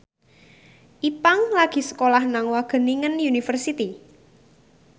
Ipank lagi sekolah nang Wageningen University